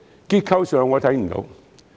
結構上，我看不到。